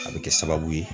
A bɛ kɛ sababu ye